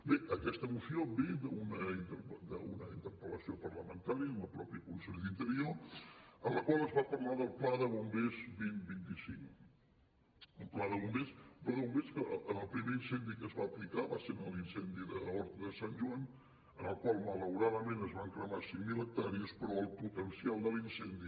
bé aquesta moció ve d’una interpel·lació parlamentària al mateix conseller d’interior en la qual es va parlar del pla bombers dos mil vint cinc un pla de bombers que en el primer incendi que es va aplicar va ser en l’incendi d’horta de sant joan en el qual malauradament es van cremar cinc mil hectàrees però el potencial de l’incendi